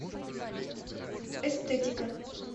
эстетика